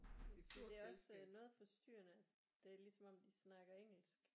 Det tænkte jeg også øh noget forstyrrende det ligesom om de snakker engelsk